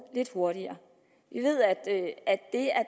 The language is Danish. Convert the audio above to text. lidt hurtigere vi ved at det at